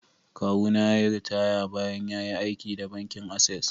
Kawuna ya yi ritaya bayan ya yi aiki da bankin Access.